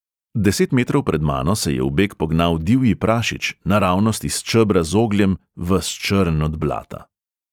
Deset metrov pred mano se je v beg pognal divji prašič, naravnost iz čebra z ogljem, ves črn od blata.